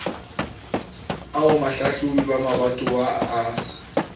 ao bahlahlobi ba mabatowa ba